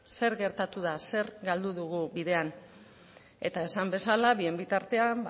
zer gertatu da zer galdu dugu bidean eta esan bezala bien bitartean